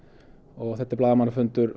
og þetta er blaðamannafundur